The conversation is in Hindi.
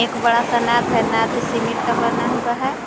बड़ा सा नाद है नाद सिमिट का बना हुआ है।